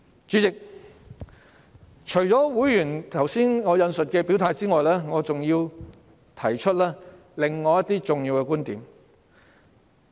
主席，除了我剛才引述的會員的表態外，我還想提出另一些重要觀點。